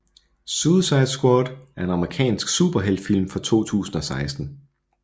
Suicide Squad er en amerikansk superheltfilm fra 2016